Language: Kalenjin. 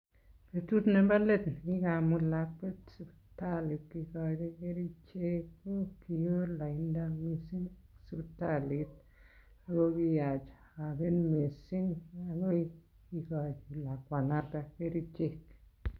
Betut nebo let ne kigamut lakwet siptali kigochi kerichek ko kiwoo lainda mising sipitalit ago kiyach agen mising agoi kigochi lakwanoto kerichek.